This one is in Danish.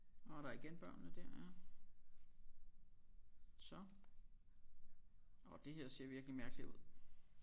Nårh der er igen børnene der ja så og det her ser virkelig mærkeligt ud